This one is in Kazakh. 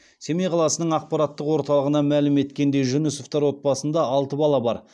семей қаласының ақпараттық орталығынан мәлім еткендей жүнісовтар отбасында алты бала бар